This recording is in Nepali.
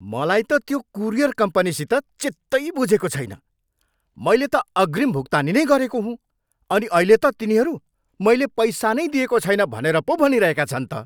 मलाई त त्यो कुरियर कम्पनीसित चित्तै बुझेको छैन। मैले त अग्रिम भुक्तानी नै गरेको हुँ, अनि अहिले त तिनीहरू मैले पैसा नै दिएको छैन भनेर पो भनिरहेका छन् त।